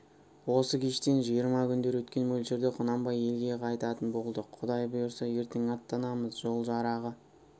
осы кештен жиырма күндер өткен мөлшерде құнанбай елге қайтатын болды құдай бұйырса ертең аттанамыз жол жарағы